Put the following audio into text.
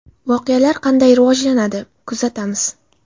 Voqealar qanday rivojlanadi, kuzatamiz.